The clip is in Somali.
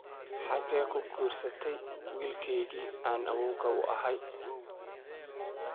Xagee ku guursatay wiilkaygii aan awoowga uu ahaay?